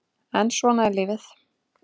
En svona er lífið